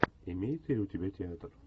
имеется ли у тебя театр